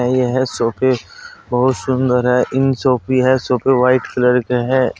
यह सोफे बहुत सुंदर है इन भी है सोफे व्हाइट कलर के हैं।